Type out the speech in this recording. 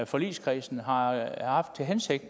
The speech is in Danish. forligskredsen har haft til hensigt